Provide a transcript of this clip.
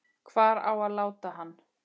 Hvar á að láta hann?